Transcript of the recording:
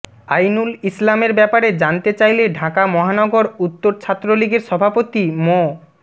আইনুল ইসলামের ব্যাপারে জানতে চাইলে ঢাকা মহানগর উত্তর ছাত্রলীগের সভাপতি মো